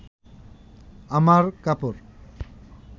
আমার কাপড়